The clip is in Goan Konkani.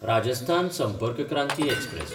राजस्थान संपर्क क्रांती एक्सप्रॅस